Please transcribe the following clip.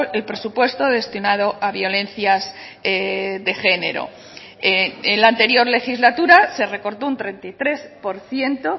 el presupuesto destinado a violencias de género en la anterior legislatura se recortó un treinta y tres por ciento